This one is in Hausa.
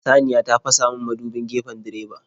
Saniya ta fasamin mudubin gefen direba.